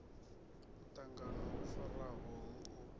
muṱangano wo farwaho hu u